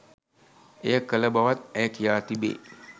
එය කළ බවත් ඇය කියා තිබේ.